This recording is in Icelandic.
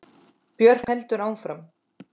Björk heldur áfram.